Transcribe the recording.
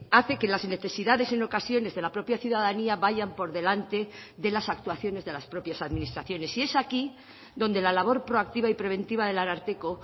hace que las necesidades en ocasiones de la propia ciudadanía vayan por delante de las actuaciones de las propias administraciones y es aquí donde la labor proactiva y preventiva del ararteko